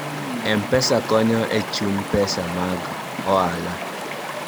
m-pesa konyo e vhuny pesa mag ohala